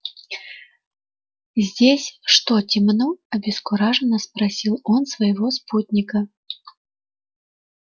здесь что темно обескураженно спросил он своего спутника